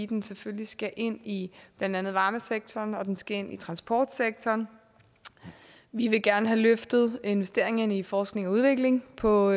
den selvfølgelig skal ind i blandt andet varmesektoren og den skal ind i transportsektoren vi vil gerne have løftet investeringerne i forskning og udvikling på